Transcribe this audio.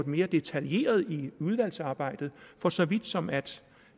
mere detaljeret i udvalgsarbejdet for så vidt som at